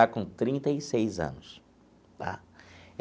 Está com trinta e seis anos, tá?